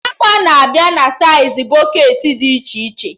Agba na-abịa na saịz bọketị dị iche iche